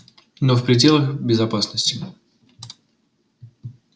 но в пределах безопасности